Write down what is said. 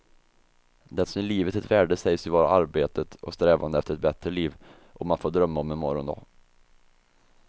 Det som ger livet ett värde sägs ju vara arbetet och strävandet efter ett bättre liv, om att få drömma om en morgondag.